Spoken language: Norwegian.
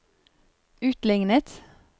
utlignet